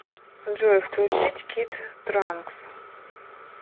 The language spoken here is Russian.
джой включить кид транкс